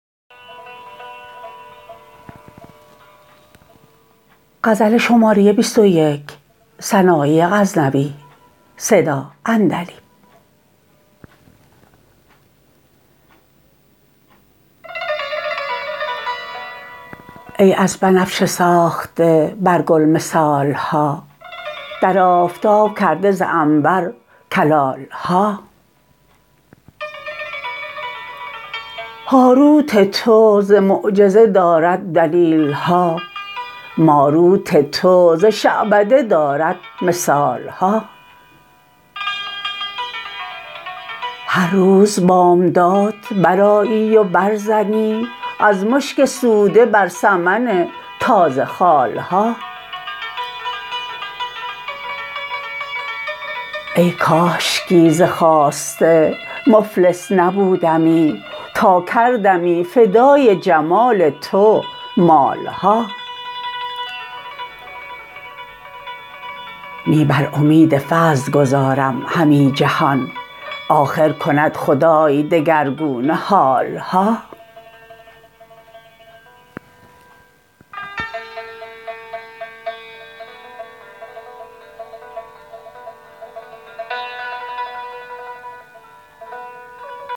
ای از بنفشه ساخته بر گل مثال ها در آفتاب کرده ز عنبر کلال ها هاروت تو ز معجزه دارد دلیل ها ماروت تو ز شعبده دارد مثال ها هرروز بامداد برآیی و بر زنی از مشک سوده بر سمن تازه خال ها ای کاشکی ز خواسته مفلس نبودمی تا کردمی فدای جمال تو مال ها نی بر امید فضل گذارم همی جهان آخر کند خدای دگرگونه حال ها